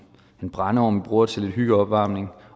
brændeovn bruger til lidt hyggeopvarmning